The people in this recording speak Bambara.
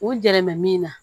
U gɛrɛmɛ min na